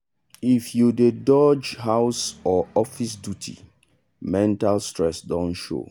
if you dey dodge house or office duty mental stress don show.